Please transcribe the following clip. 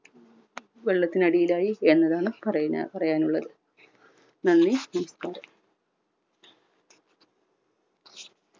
വെള്ളത്തിനടിയിലായി എന്നതാണ് പറയ്ഞ്ഞ പറയാൻ ഉള്ളത്. നന്ദി നമസ്കാരം